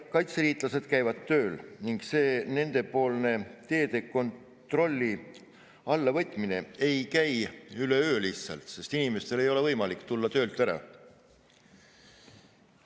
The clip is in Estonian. Kaitseliitlased käivad tööl ning nende teede kontrolli alla võtmine ei käi lihtsalt üleöö, sest inimestel ei ole võimalik tulla töölt ära.